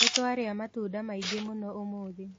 Nĩtwarĩa matunda maingĩ mũno ũmũthĩ